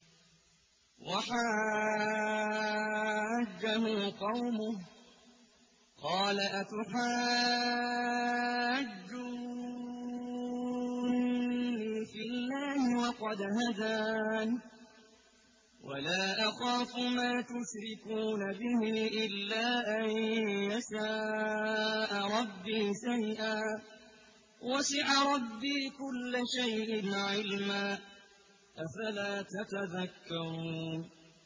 وَحَاجَّهُ قَوْمُهُ ۚ قَالَ أَتُحَاجُّونِّي فِي اللَّهِ وَقَدْ هَدَانِ ۚ وَلَا أَخَافُ مَا تُشْرِكُونَ بِهِ إِلَّا أَن يَشَاءَ رَبِّي شَيْئًا ۗ وَسِعَ رَبِّي كُلَّ شَيْءٍ عِلْمًا ۗ أَفَلَا تَتَذَكَّرُونَ